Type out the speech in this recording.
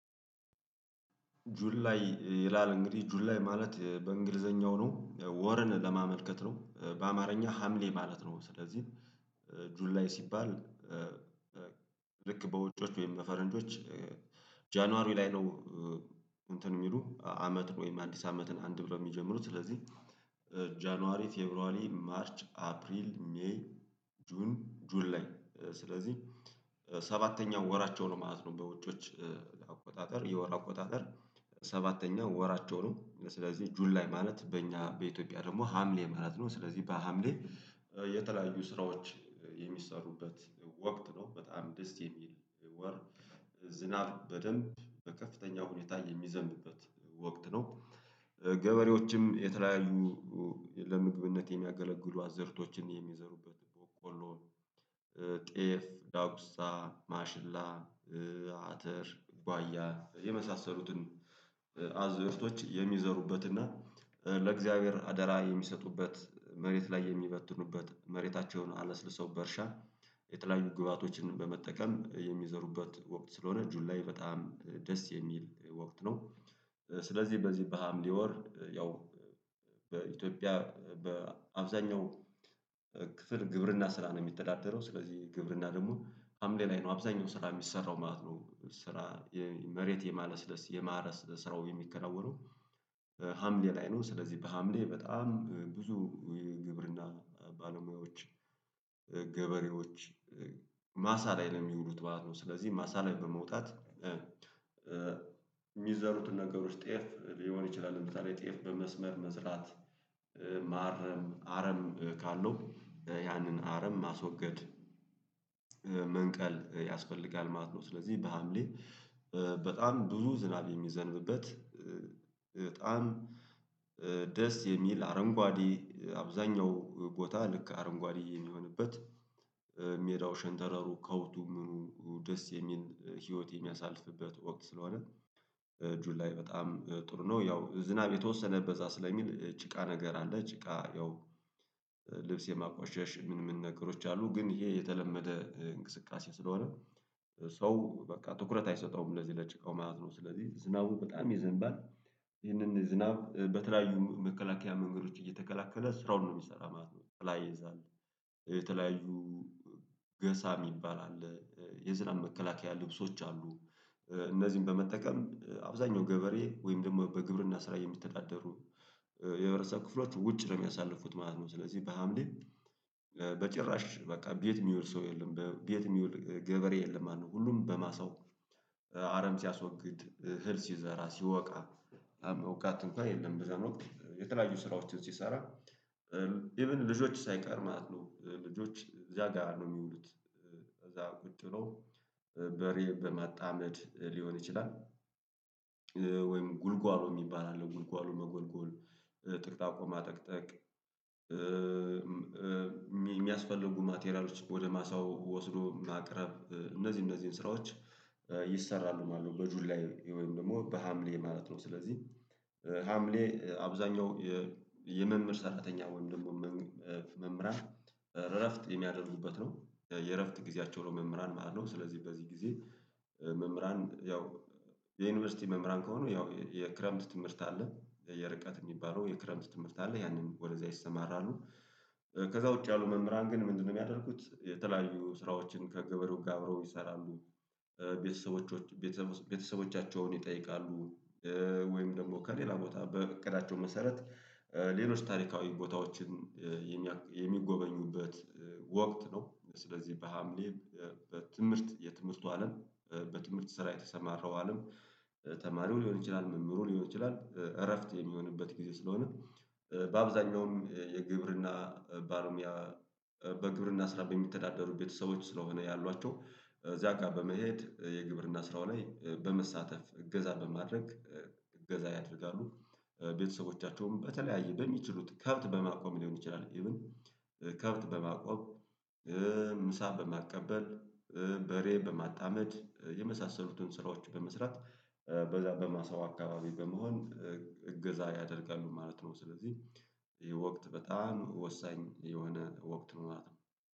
ጁላይ ይላል እንግዲህ ጁላይ ማለት በእንግሊዘኛው ነው ወርን ለማመልከት ነው በአማርኛ ሀምሌ ማለት ነው ስለዚህ ጁላይ ሲባል። ልክ በውጮች ወይም በፈረንዶች ጃንዋሪ ላይ ነው። እንትን የሚሉ አመት ነው ወይም አዲስ አመትን አንድ ብለው የሚጀምሩት ስለዚህ። ጃንዋሪ ፈቭሯሪ ማርች አፕሪል ሜይ ጁን ጁላይ ስለዚህ ሰባተኛው ወራቸው ነው ማለት ነው። በውጪዎች አቆጣጠር የወር ቆጣጠር ሰባተኛው ወራቸው ነው። ስለዚህ ጁላይ ማለት በእኛ በኢትዮጵያ ደግሞ ሀምሌ ማለት ነው። ስለዚህ በሀምሌ የተለያዩ ስራዎች የሚሰሩበት ወቅት ነው በጣም ደስ የሚል ወር ዝናብ በደንብ በከፍተኛ ሁኔታ የሚዘንብበት ወቅት ነው። ገበሬዎችም የተለያዩ ለምግብነት የሚያገለግሉ አዘርቶችን የሚዘሩበት ቆሎ ጤፍ ዳጉሳ ማሽላ አተር ባያ የመሳሰሉትን አዝርቶች የሚዘሩበትና ለእግዚአብሔር አደራ የሚሰጡበት መሬት ላይ የሚበትኑበት መሬታቸውን አለስልሰው በእርሻ የተለያዩ ግብአቶችን በመጠቀም የሚዘሩበት ወቅት ስለሆነ ጁላይ በጣም ደስ የሚል ወቅት ነው። ስለዚህ በዚህ በሀምሌ ወር ያው በኢትዮጵያ በአብዛኛው ክፍል ግብርና ስራ ነው የሚተዳደረው። ስለዚህ ግብርና ደግሞ ሀምሌ ላይ ነው አብዛኛው ስራ የሚሰራው ማለት ነው። ስራ መሬት የማለስለስ ስራው የሚከናወነው ሀምሌ ላይ ነው። ስለዚህ በሀምሌ በጣም ብዙ ግብርና ባለሙያዎች ገበሬዎች ማሳ ላይ ለሚውሉት ማሳ ላይ ነው ስለዚህ ማሳ ላይ በመውጣት የሚዘሩትን ነገሮች ጤፍ ሊሆን ይችላል እንደዛ ላይ ጤፍ በመስመር መዝራት ማረም አረም ካለው ያንን አረም ማስወገድ መንቀል ያስፈልጋል ማለት ነው። ስለዚህ በሀምሌ በጣም ብዙ ዝናብ የሚዘንብበት በጣም ደስ የሚል አረንጓዴ አብዛኛው ቦታ ልክ አረንጓዴ የሚሆንበት ሜዳው ሸንተረሩ ከውቱም ደስ የሚል ህይወት የሚያሳልፍበት ወቅት ስለሆነ ጁላይ በጣም ጥሩ ነው። ያው ዝናብ የተወሰነ በዛ ስለሚል ጭቃ ነገር አለ ጭቃ ያው ልብስ የማቋሸሽ ምን ምን ነገሮች አሉ ግን ይሄ የተለመደ እንቅስቃሴ ስለሆነ ሰው በቃ ትኩረት አይሰጠውም ለዚህ ለጭቃው ማለት ነው። ስለዚህ ዝናቡ በጣም ይዘንባል ይህንን ዝናብ በተለያዩ መከላከያ መንገዶች እየተከላከለ ስራውን ነው የሚሰራ ማለት ነው። የተለያየ ይይዛል የተለያዩ ገሳ የሚባል አለ የዝናብ መከላከያ ልብሶች አሉ። እነዚህን በመጠቀም አብዛኛው ገበሬ ወይም ደግሞ በግብርና ስራ የሚተዳደሩ የረሳ ክፍሎች ውጭ ነው የሚያሳለፉት ማለት ነው። ስለዚህ በሀምሌ በጭራሽ በቃ ቤት የሚውል ሰው የለም በቤት የሚውል ገበሬ የለም። ማነው ሁሉም በማሳው አረም ሲያስወግድ እህል ሲዘራ ሲወቃ እንኳን የለም ብዛን ወቅት የተለያዩ ስራዎችን ሲሰራ ኢቭን ልጆች ሳይቀር ማለት ነው። ልጆች እዚያ ጋር ነው የሚውሉት። እዛ ቁጭ ብሎ በሬ በማጣመድ ሊሆን ይችላል። ወይም ጉልጓሎ የሚባል አለ ጉልጓሎ መጎልጎል ጥቅጣቆ ማጠቅጠቅ የሚያስፈልጉ ማቴሪያሎች ወደ ማሳው ወስዶ ማቅረብ እነዚህ እነዚህን ስራዎች ይሰራሉ ማለት ነው። በጁላይ ወይም ደግሞ በሀምሌ ማለት ነው ስለዚህ ሀምሌ አብዛኛው የመምህር ሰራተኛ ወይም ደግሞ መምህራን እረፍት የሚያደርጉበት ነው። የእረፍት ጊዜያቸው ነው መምህራን ማለት ነው። ስለዚህ በዚህ ጊዜ መምህራን ያው የዩኒቨርሲቲ መምህራን ከሆኑ ያው የክረምት ትምህርት አለ የርቀት የሚባለው የክረምት ትምህርት አለ ያንን ወደዛ ይሰማራሉ። ከዛ ውጪ ያሉ መምህራን ግን ምንድነው? ሚያደረጉት የተለያዩ ስራዎችን ከገበሬው ጋር አብረው ይሰራሉ። ቤተሰቦች ቤተሰቦቻቸውን ይጠይቃሉ ወይም ደግሞ ከሌላ ቦታ በእቅዳቸው መሰረት ሌሎች ታሪካዊ ቦታዎችን የሚጎበኙበት ወቅት ነው። ስለዚህ በሀምሌ በትምህርት የትምህርት አለም በትምህርት ስራ የተሰማረው አለም ተማሪው ሊሆን ይችላል መምህሩ ሊሆን ይችላል እረፍት የሚሆንበት ጊዜ ስለሆነ። በአብዛኛውም የግብርና ባለሞያ በግብርና ስራ በሚተዳደሩ ቤተሰቦች ስለሆነ ያሏቸው እዚያ ጋር በመሄድ የግብርና ስራው ላይ በመሳተፍ እገዛ በማድረግ እገዛ ያደርጋሉ። ቤተሰቦቻቸውም በተለያየ በሚችሉት ከብት በማቆም ሊሆን ይችላል ኢቭን ከብት በማቆም ምሳ በማቀበል በሬ በማጣመድ የመሳሰሉትን ስራዎች በመስራት በዛ በማሰው አካባቢ በመሆን እገዛ ያደርጋሉ ማለት ነው። ስለዚህ የወቅት በጣም ወሳኝ የሆነ ወቅት ነው ማለት ነው